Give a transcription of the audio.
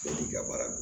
ka baara don